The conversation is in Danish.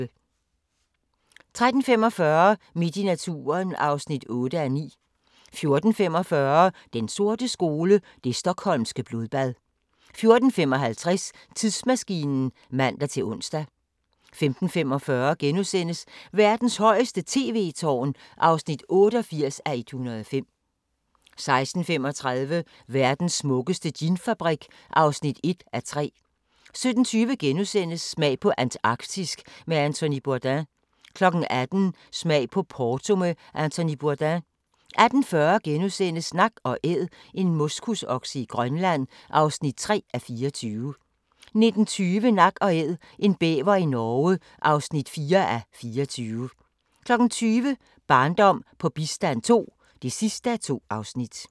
13:45: Midt i naturen (8:9) 14:45: Den sorte skole: Det Stockholmske blodbad 14:55: Tidsmaskinen (man-ons) 15:45: Verdens højeste tv-tårn (88:105)* 16:35: Verdens smukkeste ginfabrik (1:3) 17:20: Smag på Antarktisk med Anthony Bourdain * 18:00: Smag på Porto med Anthony Bourdain 18:40: Nak & Æd - en moskusokse i Grønland (3:24)* 19:20: Nak & Æd – en bæver i Norge (4:24) 20:00: Barndom på bistand II (2:2)